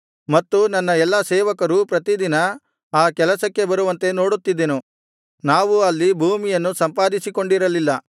ಮತ್ತು ನನ್ನ ಎಲ್ಲಾ ಸೇವಕರೂ ಪ್ರತಿದಿನ ಆ ಕೆಲಸಕ್ಕೆ ಬರುವಂತೆ ನೋಡುತ್ತಿದ್ದೆನು ನಾವು ಅಲ್ಲಿ ಭೂಮಿಯನ್ನು ಸಂಪಾದಿಸಿಕೊಂಡಿರಲಿಲ್ಲ